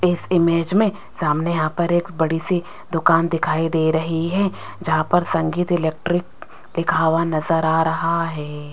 इस इमेज में सामने यहां पर एक बड़ी सी दुकान दिखाई दे रही है जहां पर संगीत इलेक्ट्रिक लिखा हुआ नजर आ रहा है।